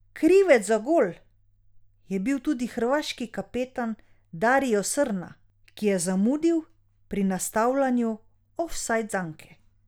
Krivec za gol je bil tudi hrvaški kapetan Darijo Srna, ki je zamudil pri nastavljanju ofsajd zanke.